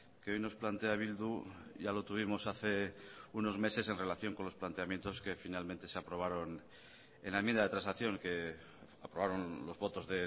que hoy nos plantea bildu ya lo tuvimos hace unos meses en relación con los planteamientos que finalmente se aprobaron en la enmienda de transacción que aprobaron los votos